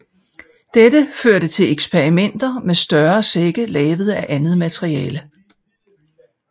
Dette førte til eksperimenter med større sække lavet af andet materiale